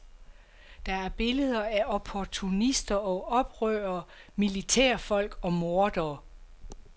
Der er billeder af opportunister og oprørere, militærfolk og mordere.